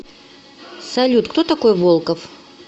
салют кто такой волков